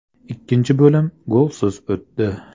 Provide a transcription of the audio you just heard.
Ikkinchi bo‘lim golsiz o‘tdi.